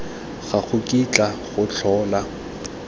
ga go kitla go tlhola